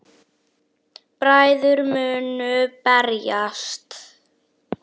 Bræður munu berjast